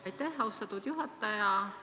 Aitäh, austatud juhataja!